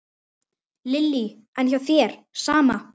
Lillý: En hjá þér, sama?